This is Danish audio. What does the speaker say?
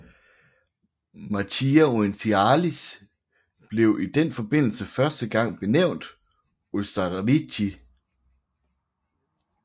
Marchia Orientalis blev i den forbindelse første gang benævnt Ostarrîchi